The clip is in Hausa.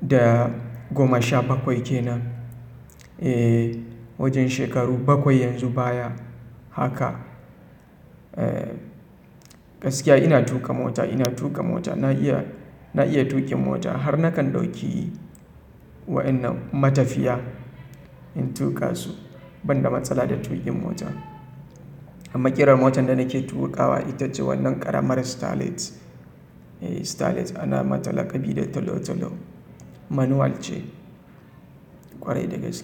da goma sha bakwai kenan. Eeee wajen shekaru bakwai yanzu baya haka. Gaskiya ina tuƙa mota, ina tuƙa mota. Na iya na iya tuƙin mota har nakan ɗauki wa'innan matafiya in tuƙa su banda matsala da tuƙin mota. Amma ƙirar motar da nake tuƙawa ita ce wannan ƙaramar Starlet. Starlet ana mata laƙabi da talo-talo. Manual ce ƙwarai dagaske.